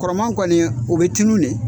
Kɔrɔma kɔni o bɛ tunnu de.